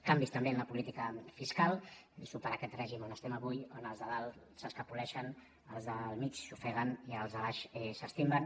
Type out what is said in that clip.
canvis també en la política fiscal superar aquest règim on estem avui on els de dalt s’escapoleixen els del mig s’ofeguen i els de baix s’estimben